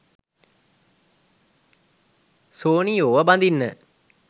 සෝනියෝව බඳින්න.